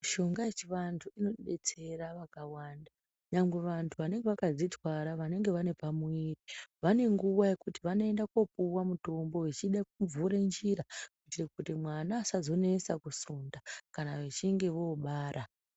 Mushonga yechivantu inodetsera vakawanga nyangwe vantu vanenge vakadzitwara vanenge vanepamuviri vanenguwa yekuti vanoenda kopuwa mutombo vechide kuvhura njira kuite kuti mwana asazonesa kusunda kana vechinge vobara.